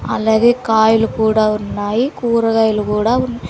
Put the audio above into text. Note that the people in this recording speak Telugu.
అలాగే కాయలు కూడా ఉన్నాయి కూరగాయలు కూడా ఉన్--